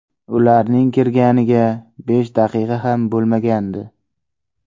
Ularning kirganiga besh daqiqa ham bo‘lmagandi.